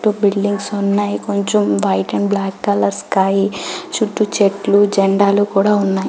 To buildings ఉన్నాయి కొంచం white and black colour sky చుట్టూ చెట్లు జెండాలు కూడా ఉన్నాయి.